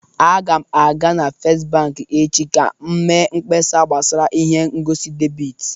A ga m aga na Fest bank echi ka m mee mkpesa gbasara ihe ngosi debit